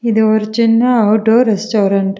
இது ஒரு சின்ன ஆட்டோ ரெஸ்டாரண்ட் .